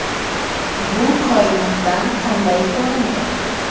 Bu koinotdan qanday ko‘rindi?